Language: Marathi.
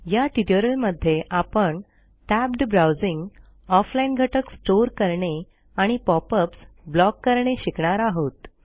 या ट्युटोरियलमध्ये आपण टॅब्ड ब्राउजिंग off लाईन घटक स्टोअर करणे आणि pop अप्स ब्लॉक करणे शिकणार आहोत